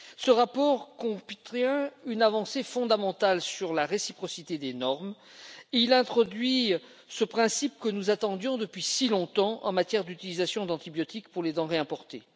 Ce rapport contient une avancée fondamentale sur la réciprocité des normes il introduit ce principe que nous attendions depuis si longtemps en matière d'utilisation d'antibiotiques pour les denrées importées.